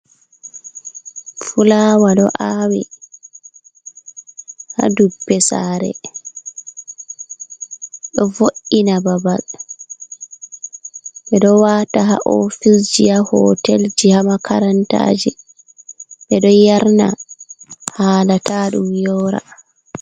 Fulawa ɗo awi ha dubbe sare. Ɗo vo’’ina babal. be ɗo wata ha ofisji, ha hotel ji, ha makarantaji. Be ɗo yarna hala ta ɗum yora.